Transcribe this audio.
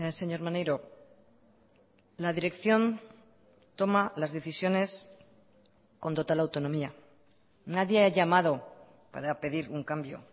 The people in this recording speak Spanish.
señor maneiro la dirección toma las decisiones con total autonomía nadie ha llamado para pedir un cambio